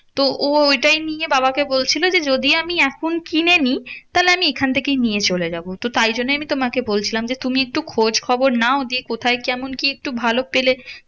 তো ও ওটাই নিয়ে বাবাকে বলছিলো যে, যদি আমি এখন কিনে নি? তাহলে আমি এখন থেকেই নিয়ে চলে যাবো। তো তাই জন্যেই আমি তোমাকে বলছিলাম যে, তুমি একটু খোঁজ খবর নাও দিয়ে কোথায় কেমন কি একটু ভালো পেলে